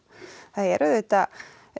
það er auðvitað